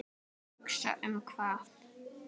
Nýbýli var reist.